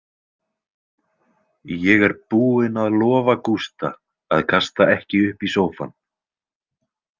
Ég er búin að lofa Gústa að kasta ekki upp í sófann.